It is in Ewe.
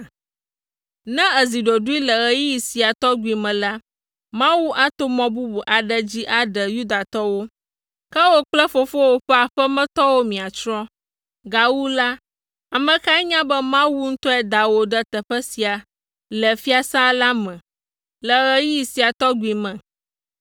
Ne èzi ɖoɖoe le ɣeyiɣi sia tɔgbi me la, Mawu ato mɔ bubu aɖe dzi aɖe Yudatɔwo, ke wò kple fofowò ƒe aƒemetɔwo miatsrɔ̃. Gawu la, ame kae nya be Mawu ŋutɔe da wò ɖe teƒe sia le fiasã la me le ɣeyiɣi sia tɔgbi me?”